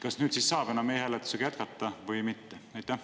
Kas nüüd siis saab e-hääletusega jätkata või mitte?